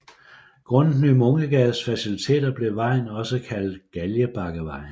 Grundet Ny Munkegades faciliteter blev vejen også kaldt Galgebakkevej